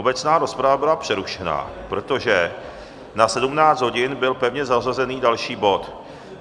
Obecná rozprava byla přerušena, protože na 17. hodinu byl pevně zařazený další bod.